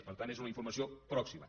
per tant és una informació pròxima